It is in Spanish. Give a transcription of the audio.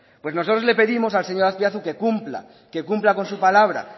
pues nosotros le pedimos al señor azpiazu que cumpla que cumpla con su palabra